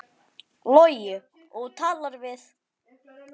Logi: Og þú talaðir við?